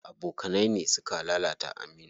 Abokanai ne suka lalata Aminu.